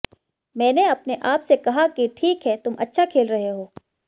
मैंने अपने आप से कहा कि ठीक है तुम अच्छा खेल रहे हो